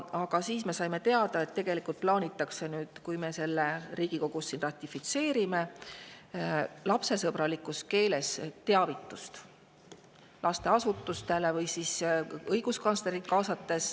Aga siis me saime teada, et tegelikult plaanitakse, kui meie selle siin Riigikogus ratifitseerime, teha lasteasutustele teavitused, mis on lapsesõbralikus keeles, või kaasates õiguskantsleri.